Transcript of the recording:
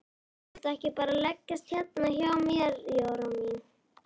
Viltu ekki bara leggjast hérna hjá mér Jóra mín.